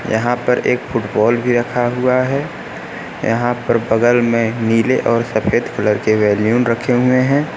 यहां पर एक फुटबॉल भी रखा हुआ है यहां पर बगल में नीले और सफेद कलर के वैल्युन रखे हुए।